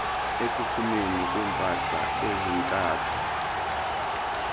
ekuphumeni kweempahla ezithathwa